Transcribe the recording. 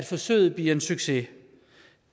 forsøget bliver en succes